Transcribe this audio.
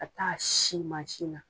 Ka taa sin mansin na.